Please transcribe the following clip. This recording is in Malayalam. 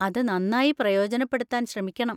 അത് നന്നായി പ്രയോജനപ്പെടുത്താൻ ശ്രമിക്കണം.